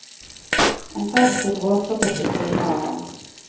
En taxi bråstoppet ved siden av ham.